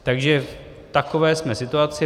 V takové jsme situaci.